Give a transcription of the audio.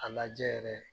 A lajɛ yɛrɛ